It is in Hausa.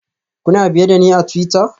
Kuna biye da ni a twitter?